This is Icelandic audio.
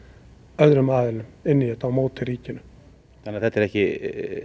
öðrum aðilum inn í þetta á móti ríkinu þannig að þetta er ekki